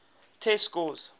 test scores